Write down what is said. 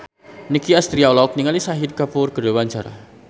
Nicky Astria olohok ningali Shahid Kapoor keur diwawancara